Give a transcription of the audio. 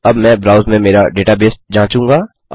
अब मैं ब्राउज में मेरा डेटाबेस जाचूँगा